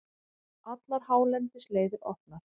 Allar hálendisleiðir opnar